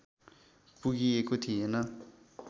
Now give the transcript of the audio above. पुगिएको थिएन